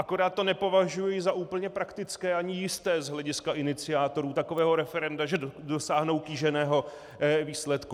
Akorát to nepovažuji za úplně praktické ani jisté z hlediska iniciátorů takového referenda, že dosáhnou kýženého výsledku.